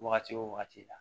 Wagati wo wagati la